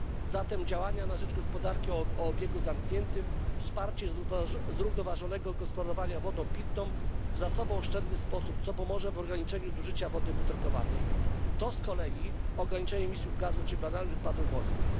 Zatem działania na rzecz gospodarki o obiegu zamkniętym, wsparcie zrównoważonego gospodarowania wodą pitną w zasobooszczędny sposób, co pomoże w ograniczeniu zużycia wody butelkowanej to z kolei ograniczenie emisji gazów cieplarnianych i odpadów morskich.